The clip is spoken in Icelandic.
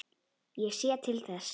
Ég sé til þess.